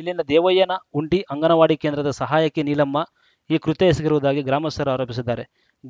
ಇಲ್ಲಿನ ದೇವಯ್ಯನಹುಂಡಿ ಅಂಗನವಾಡಿ ಕೇಂದ್ರದ ಸಹಾಯಕಿ ನೀಲಮ್ಮ ಈ ಕೃತ್ಯ ಎಸಗಿರುವುದಾಗಿ ಗ್ರಾಮಸ್ಥರು ಆರೋಪಿಸಿದ್ದಾರೆ